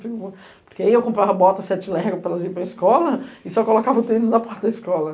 Porque aí eu comprava bota sete Lego para elas irem para escola e só colocava o tênis na porta da escola.